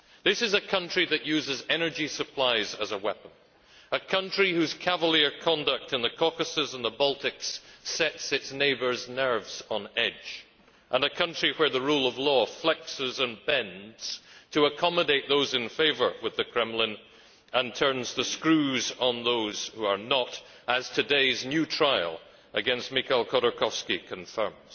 This is a country that uses energy supplies as a weapon, a country whose cavalier conduct in the Caucasus and the Baltics sets its neighbours' nerves on edge, and a country where the rule of law flexes and bends to accommodate those in favour with the Kremlin, and turns the screws on those who are not, as today's new trial against Mikhail Khodorkovsky confirms.